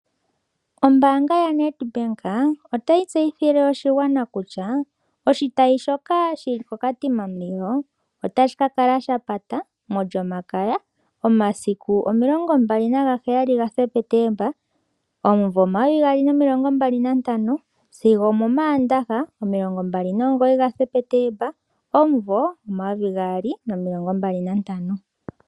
Ombaanga yaNedbank otayi tseyithile oshigwana kutya oshitayi shoka shi li koKatima Mulilo otashi ka kala sha pata mOlyomakaya omasiku 27 Septemba 2025 sigo omOmaandaha 29 Septemba 2025.